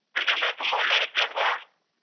ಏಕಂದ್ರೆ ತುಂಬಾ ಒಳ್ಳೇ ವ್ಯಕ್ತಿ ಅಲ್ವಾ.